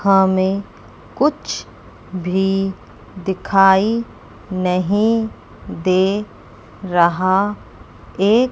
हां में कुछ भी दिखाई नहीं दे रहा एक--